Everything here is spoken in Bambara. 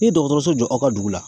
N'i ye dɔgɔtɔrɔso jɔ aw ka dugu la